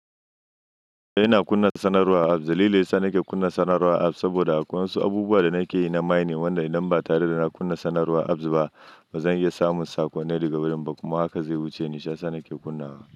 Ina kunna sanarwa. Dalili da yasa nake kunna sanarwar apps saboda akwai wasu abubuwa da nake yi na minin, wanda idan ba tare da na kunna sanarwar apps ba, ba zan iya samun saƙonnai daga wurin ba, kuma haka zai wuce ni shi yasa sanake kunnawa.